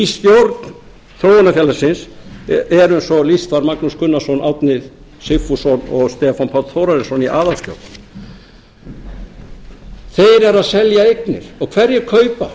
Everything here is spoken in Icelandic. í stjórn þróunarfélagsins er eins og lýst var magnús gunnarsson árni sigfússon og stefán páll þórarinsson í aðal þeir eru að selja eignir og hverjir kaupa